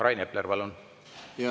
Rain Epler, palun!